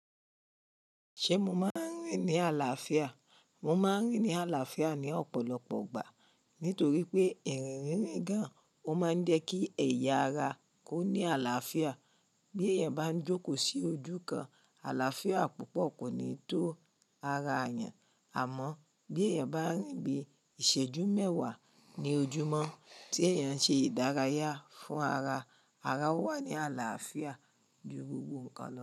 Ṣé mo máa ń rìn ní àlàáfíà? Mo máa ń rìn ní àlàáfíà ní ọ̀pọ̀lọpọ̀ ìgbà, nítorí pé ìrìn rínrin gán ò máa ń jẹ́ kí ẹ̀yà ara kó ní àlàáfíà. Bí èèyàn bá ń jókòó sí ojú kan, àlàáfíà púpọ̀ kò ní tó ara èèyàn, àmọ́ bí èèyàn bá ń rìn bíi ìṣẹ́jú mẹ́wà ní ojúmọ́ tí èèyàn ṣe ìdárayá fún ara, ara ó wà ní àlàáfíà ju gbogbo nnkan lọ.